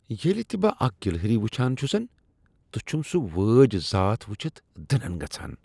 ییٚلہ تہ بہٕ اکھ گلہری وٕچھان چُھسن، تہٕ چھم سُہ وٲج ذات وچھتھ دٕنن گژھان۔